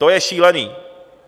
To je šílený!